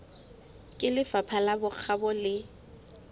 ke lefapha la bokgabo le